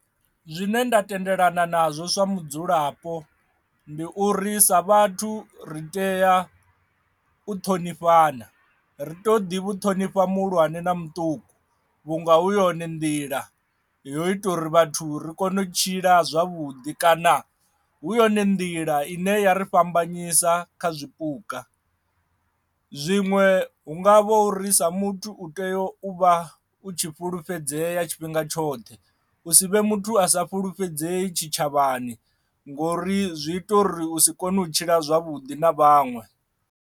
Zwine nda tendelana nazwo sa mudzulapo ndi uri sa vhathu ri tea u ṱhonifhana ri to ḓi vhu ṱhonifha muhulwane na muṱuku vhunga hu yone nḓila yo ita uri vhathu ri kone u tshila zwavhuḓi kana hu yone nḓila ine ya ri fhambanyisa kha zwipuka. Zwiṅwe hu nga vhori sa muthu u tea u vha u tshi fhulufhedzeya tshifhinga tshoṱhe u si vhe muthu a sa fulufhedzei tshitshavhani ngori zwi ita uri u si kone u tshila zwavhuḓi na vhaṅwe.